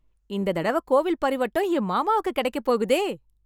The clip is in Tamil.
இந்த தடவை கோவில் பரிவட்டம் என் மாமாவுக்கு கிடைக்க போகுதே.